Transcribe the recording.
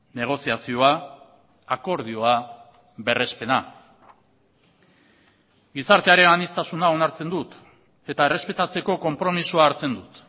negoziazioa akordioa berrespena gizartearen aniztasuna onartzen dut eta errespetatzeko konpromisoa hartzen dut